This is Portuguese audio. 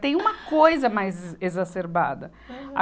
Tem uma coisa mais exacerbada. Aham